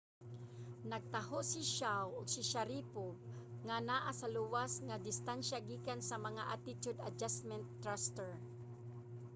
nagtaho si chiao ug sharipov nga naa sa luwas nga distansya gikan sa mga attitude adjustment thruster